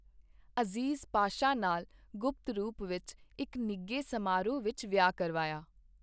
ਅਜ਼ੀਜ਼ ਪਾਸ਼ਾ ਨਾਲ ਗੁਪਤ ਰੂਪ ਵਿੱਚ ਇੱਕ ਨਿੱਘੇ ਸਮਾਰੋਹ ਵਿੱਚ ਵਿਆਹ ਕਰਵਾਇਆ।